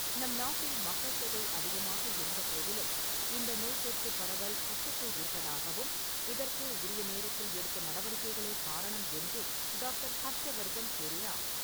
நம் நாட்டில் மக்கள் தொகை அதிகமாக இருந்த போதிலும், இந்த நோய் தொற்று பரவல் கட்டுக்குள் இருப்பதாகவும், இதற்கு உரிய நேரத்தில் எடுத்த நடவடிக்கைகளே காரணம் என்றும் டாக்டர் ஹர்ஷவர்தன் கூறினார்.